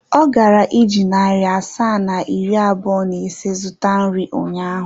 Ọ gara iji narị asaa na iri abụọ na ise zụta nri ụnyaahụ.